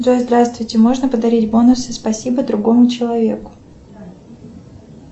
джой здравствуйте можно подарить бонусы спасибо другому человеку